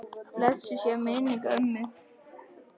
Blessuð sé minning ömmu.